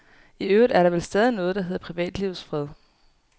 I øvrigt er der vel stadig noget, der hedder privatlivets fred.